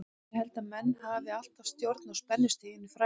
Ég held að menn hafi alltaf stjórn á spennustiginu fræga.